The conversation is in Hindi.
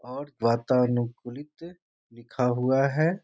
और वातावरण अनुकूलित लिखा हुआ है।